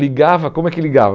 ligava, como é que ligava?